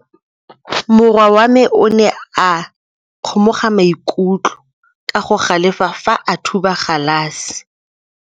Morwa wa me o ne a kgomoga maikutlo ka go galefa fa a thuba galase.